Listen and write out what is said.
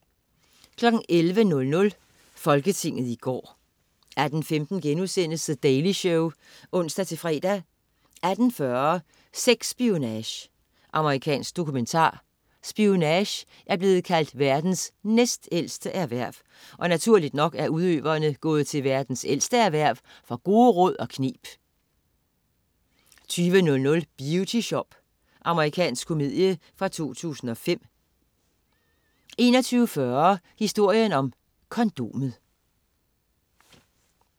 11.00 Folketinget i går 18.15 The Daily Show* (ons-fre) 18.40 Sex-spionage. Amerikansk dokumentar. Spionage er blevet kaldt verdens næstældste erhverv, og naturligt nok er udøverne gået til verdens ældste erhverv for gode råd og kneb 20.00 Beauty Shop. Amerikansk komedie fra 2005 21.40 Historien om kondomet